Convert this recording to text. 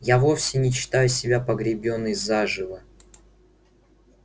я вовсе не считаю себя погребённой заживо